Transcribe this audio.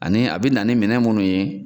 Ani a bɛ na ni minɛn minnu ye